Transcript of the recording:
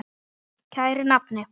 Kæri nafni.